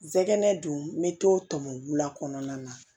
Zɛgɛnɛ dun n be t'o tɔmɔ bubula kɔnɔna na